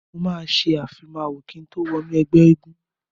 Mo máa ìfimáwọ kín tó wọnú ẹgbẹ́ eégún.